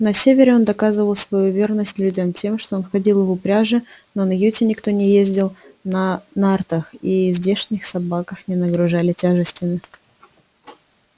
на севере он доказывал свою верность людям тем что ходил в упряжи но на юте никто не ездил на нартах и здешних собаках не нагружали тяжестями